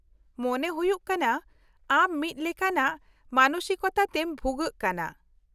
-ᱢᱚᱱᱮ ᱦᱩᱭᱩᱜ ᱠᱟᱱᱟ ᱟᱢ ᱢᱤᱫ ᱞᱮᱠᱟᱱᱟᱜ ᱢᱟᱱᱚᱥᱤᱠᱚᱛᱟ ᱛᱮᱢ ᱵᱷᱩᱜᱟᱹᱜ ᱠᱟᱱᱟ ᱾